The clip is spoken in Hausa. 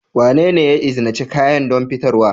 Wanene ya izinice kayan don fitarwa?